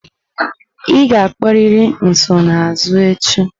Ị ga-akpọrịrị nsonaazụ echi!